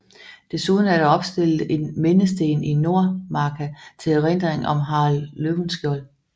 Desuden er der opstillet en mindesten i Nordmarka til erindring om Harald Løvenskiold